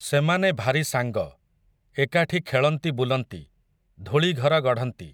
ସେମାନେ ଭାରି ସାଙ୍ଗ, ଏକାଠି ଖେଳନ୍ତି ବୁଲନ୍ତି, ଧୂଳିଘର ଗଢ଼ନ୍ତି ।